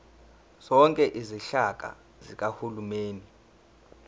zonke izinhlaka zikahulumeni